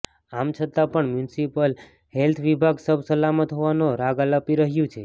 આમ છતાં પણ મ્યુનિસિપલ હેલ્થ વિભાગ સબ સલામત હોવાનો રાગ આલાપી રહ્યુ છે